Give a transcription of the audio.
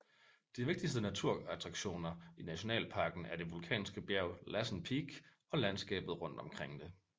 De vigtigste naturattraktioner i nationalparken er det vulkanske bjerg Lassen Peak og landskabet rundt omkring det